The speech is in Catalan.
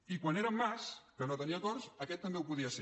i quan era en mas que no tenia acords aquest també ho podia ser